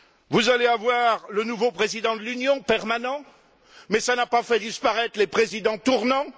Vous allez avoir le nouveau président de l'Union, permanent, mais qui n'a pas fait disparaître les présidents tournants.